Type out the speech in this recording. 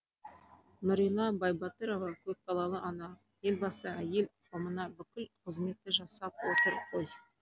нұрила байбатырова көпбалалы ана елбасы әйел қауымына бүкіл қызметті жасап отыр ғой